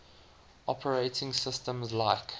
operating systems like